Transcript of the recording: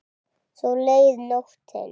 Svo leið nóttin.